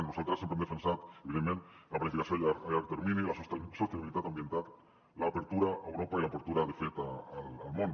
nosaltres sempre hem defensat evidentment la planificació a llarg termini la sostenibilitat ambiental l’obertura a europa i l’obertura de fet al món